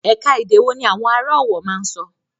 Ẹ̀ka-èdè ọ̀wọ̀ ní àwọn ará Ọ̀wọ̀ máa ń sọ.